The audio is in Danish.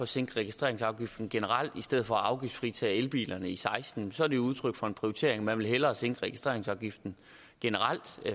sænke registreringsafgiften generelt i stedet for at afgiftsfritage elbilerne i seksten så er det udtryk for prioritering man vil hellere generelt sænke registreringsafgiften